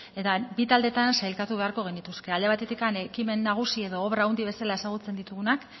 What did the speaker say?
eta bi taldetan sailkatu beharko genituzke alde batetik ekimen nagusi edo obra handi bezala ezagutzen ditugunak